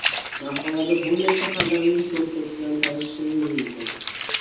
Maqolada bunday shaharlarning to‘rttasi bilan tanishishingiz mumkin .